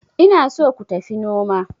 ina so ku tafi noma